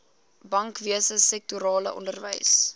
bankwese sektorale onderwys